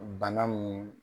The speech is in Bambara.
Bana min